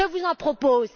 Je vous en propose.